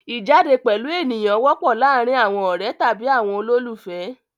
Ìjáde pẹ̀lú ènìyàn wọ́pọ̀ láàárin àwọn ọ̀rẹ́ tàbí àwọn olólùfẹ́.